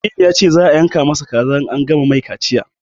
Aminu ya ce za a yanka ma sa kaza in an gama mai kaciya